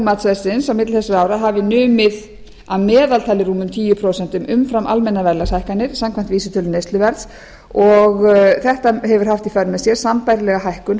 þrjú og tvö þúsund og fjögur hafi numið að meðaltali rúmum tíu prósent umfram almennar verðlagshækkanir samkvæmt vísitölu neysluverðs og þetta hefur haft í för með sér sambærilega hækkun